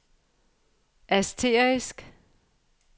asterisk